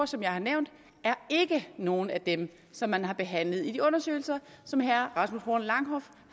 som jeg har nævnt er ikke nogen af dem som man har behandlet i de undersøgelser som herre rasmus horn langhoff